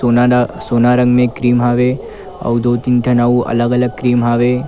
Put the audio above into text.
सुना न सोना रंग मे क्रीम हवे अउ तीन ठो अउ अलग-अलग रंग मे क्रीम हवे।